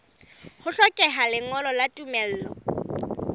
ho hlokeha lengolo la tumello